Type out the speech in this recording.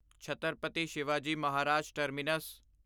Chhatrapati Shivaji Maharaj terminus